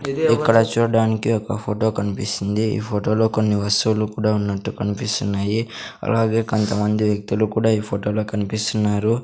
ఇక్కడ చూడ్డానికి ఒక ఫోటో కన్పిస్తుంది ఈ ఫోటోలో కొన్ని వస్తువులు కూడా ఉన్నట్టు కన్పిస్తున్నాయి అలాగే కంతమంది వ్యక్తులు కూడా ఈ ఫోటోలో కన్పిస్తున్నారు.